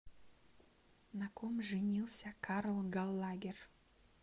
на ком женился карл галлагер